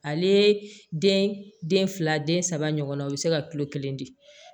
Ale den den fila den saba ɲɔgɔnna o be se ka kilo kelen di